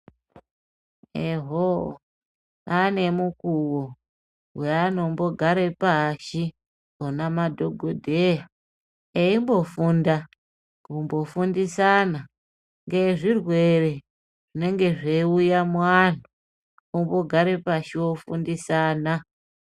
Ehoo pane mikuwo, yeanombogare pashi vona madhogodheya, eimbofunda, kumbofundisana ngezvirwere, zvinenge zveiuya muanhu, ombogare pashi ofundisana.